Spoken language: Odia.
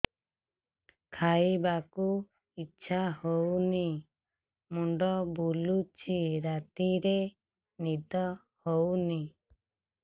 ଖାଇବାକୁ ଇଛା ହଉନି ମୁଣ୍ଡ ବୁଲୁଚି ରାତିରେ ନିଦ ହଉନି